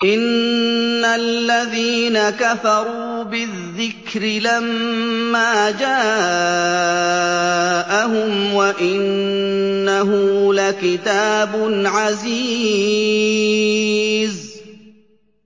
إِنَّ الَّذِينَ كَفَرُوا بِالذِّكْرِ لَمَّا جَاءَهُمْ ۖ وَإِنَّهُ لَكِتَابٌ عَزِيزٌ